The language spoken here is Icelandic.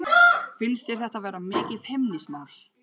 Finnst þér þetta vera mikið feimnismál?